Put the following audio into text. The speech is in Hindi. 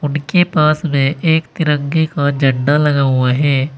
के पास में एक तिरंगे का झंडा लगा हुआ है।